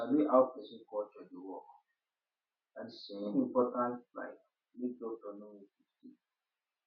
you see[um]to sabi how person culture dey work na the same important like make doctor no make mistake